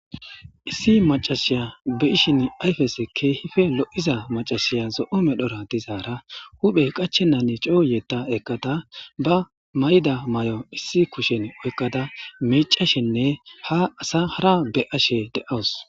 Issi macashiya be ishin ayfese keehife lo7iza macashiya zo7o medhora dizaara huphey qachenan cooyeta eqata ba may7ida may7o issi kushen oykkada miicashenne ha asa hara be ashe de7aws.